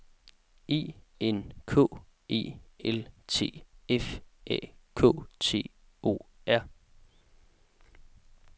E N K E L T F A K T O R